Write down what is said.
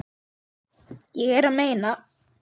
Ég er að meina.